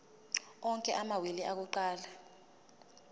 onke amawili akuqala